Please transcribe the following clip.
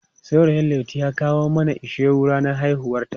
Saurayin Laitu ya kawo mana ishewu ranar haihuwarta.